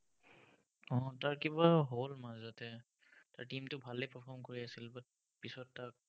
উম তাৰ কিবা হ'ল মাজতে, তাৰ team টো ভালেই perform কৰি আছিল, but পিছত তাৰ